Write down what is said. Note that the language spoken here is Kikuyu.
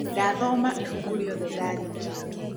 Ndathoma ibuku rĩothe ndarĩkia